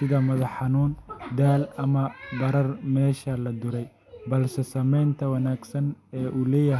sida madax xanuun, daal ama barar meesha la duray, balse saameynta wanaagsan ee uu leeyahay.